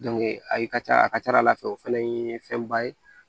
ayi ka ca a ka ca ala fɛ o fɛnɛ ye fɛnba ye